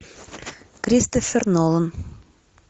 кристофер нолан